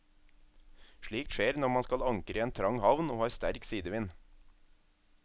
Slikt skjer når man skal ankre i en trang havn og har sterk sidevind.